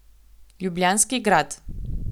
Ljubljanski grad.